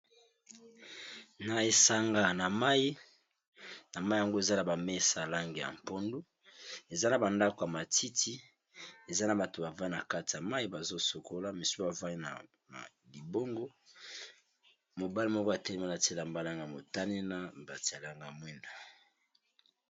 Na esanga na mai na mai yango eza na bamesa lange ya mpondu eza na bandako ya matiti eza na bato bavanda na kati ya mai bazosokola misu bavai na libongo mobale moko atelemalatiela mbalang ya motani na batialanga mweno